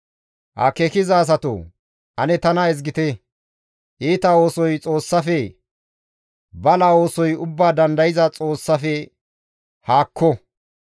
«Akeekiza asatoo ane tana ezgite! Iita oosoy Xoossafe; bala oosoy Ubbaa Dandayza Xoossafe haakko!